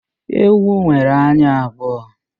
Ewu nwere anya abụọ